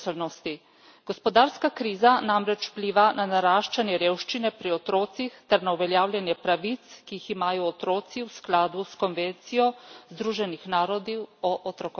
Gospodarska kriza namreč vpliva na naraščanje revščine pri otrocih ter na uveljavljanje pravic, ki jih imajo otroci v skladu s konvencijo Združenih narodov o otrokovih pravicah.